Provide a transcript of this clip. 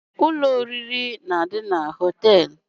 Ụlọ oriri na-adị na hóteélụ̀